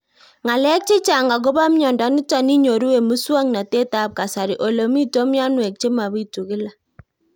Ng'alek chechang' akopo miondo nitok inyoru eng' muswog'natet ab kasari ole mito mianwek che mapitu kila